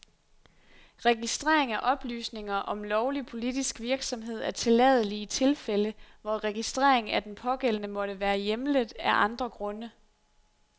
Registrering af oplysninger om lovlig politisk virksomhed er tilladelig i tilfælde, hvor registrering af den pågældende måtte være hjemlet af andre grunde.